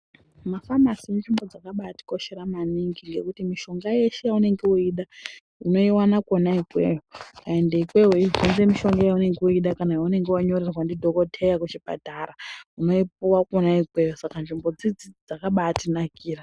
Mafamasi inzvimbo dzakabatikoshera maningi ngekuti mishonga yeshe yeunenge weida unoiona kona ikweyo ende ikweyo weibvunza mishonga weida yaunonga wanyorerwa ndidhokoteya kuchipatara unoipuwa kona ikweyo saka nzvimbo idzidzi dzakabatinakira.